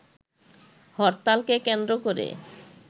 হরতালকে কেন্দ্র করে